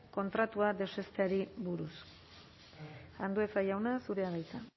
kontratua deuseztatzeari buruz andueza jauna zurea da hitza